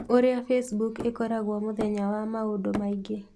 Ũrĩa Facebook ĩkoragwo mũthenya wa maũndũ maingĩ.